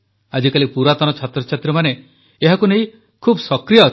ଆଜିକାଲି ପୁରାତନ ଛାତ୍ରଛାତ୍ରୀମାନେ ଏହାକୁ ନେଇ ବହୁତ ସକ୍ରିୟ ଅଛନ୍ତି